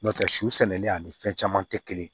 N'o tɛ su sɛnɛlen ani fɛn caman tɛ kelen ye